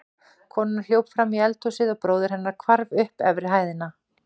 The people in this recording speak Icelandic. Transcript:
Konan hljóp fram í eldhúsið og bróðir hennar hvarf upp efri hæðina.